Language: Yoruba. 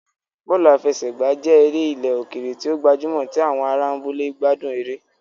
Bọ́ọ̀lù àfẹsẹ̀gbá jẹ́ eré ilẹ̀ òkèèrè tí ó gbajúmọ̀ tí àwọn ará abúlé gbádùn eré